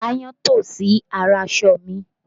Aáyán tọ̀ sí ara aṣọ mi